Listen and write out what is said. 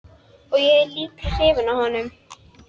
Og ég er líka hrifin af honum.